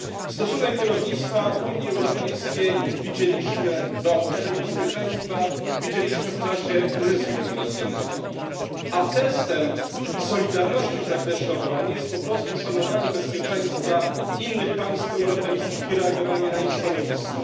Stosunek kierownictwa Unii Europejskiej do naszego bezpieczeństwa widzieliśmy w czasie kryzysu imigracyjnego, a testem solidarności w zakresie obrony jest po prostu szanowanie bezpieczeństwa innych państw europejskich i reagowanie na ich stanowisko.